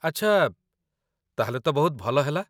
ଆଚ୍ଛା, ତା'ହେଲେ ତ ବହୁତ ଭଲ ହେଲା